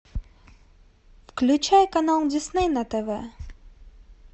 включай канал дисней на тв